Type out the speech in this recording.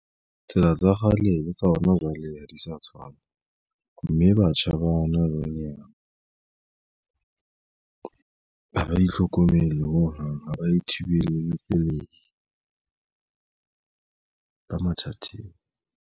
Tsela tsa kgale le tsa hona jwale ha di sa tshwana mme batjha ba hona jwale ha ba itlhokomele ho hang ha ba e thibele pelei ba mathateng.